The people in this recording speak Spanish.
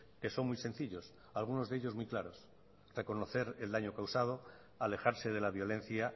que son muy sencillos algunos de ellos muy claros reconocer el daño causado alejarse de la violencia